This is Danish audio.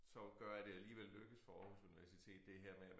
Så gør at det alligevel lykkes for Aarhus Universitet det her med